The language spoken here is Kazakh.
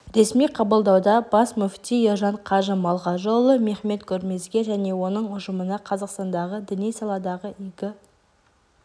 ресми қабылдауда бас мүфти ержан қажы малғажыұлы мехмет гөрмезге және оның ұжымына қазақстандағы діни саладағы игі